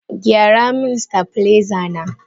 Gyara min stabiliser na!